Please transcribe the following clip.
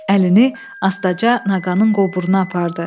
Əlini astaca nağanın qoburuna apardı.